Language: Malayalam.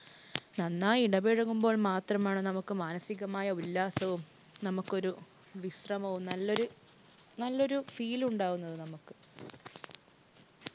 നന്നായി ഇടപഴകുമ്പോൾ മാത്രമാണ് നമുക്ക് മാനസികമായ ഉല്ലാസവും, നമുക്കൊരു വിശ്രമവും നല്ലൊരു നല്ലൊരു feel ഉണ്ടാകുന്നത് നമുക്ക്